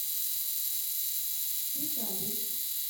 петаре